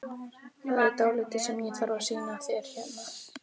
Það er dálítið sem ég þarf að sýna þér hérna!